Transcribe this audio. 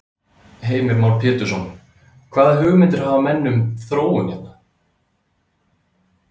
Heimir Már Pétursson: Hvaða hugmyndir hafa menn um þróun hér?